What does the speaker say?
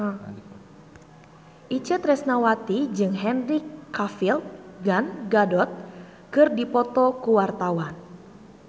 Itje Tresnawati jeung Henry Cavill Gal Gadot keur dipoto ku wartawan